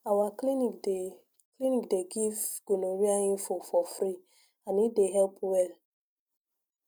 our clinic dey clinic dey give gonorrhea info for free and e dey help well